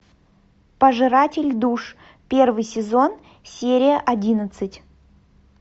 пожиратель душ первый сезон серия одиннадцать